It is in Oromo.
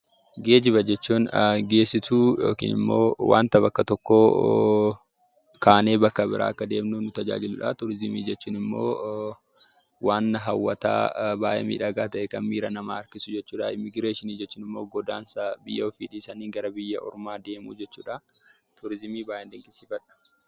Geejjiba jechuun geessituu yookiin immoo, wanta bakka tokko kaaneen bakka bira akka deemnuuf nu tajaajiludha. Turiisimi jechuun immoo wanna hawwataa baay'ee miidhagaa ta'e, kan miiraa nama harkisuu jechuudha. Immigireeshiin jechuun immoo godansa biyya ofii dhiisani gara biyya ormaa deemuu jechuudha. Turiisimi baay'een dinqisiifadha!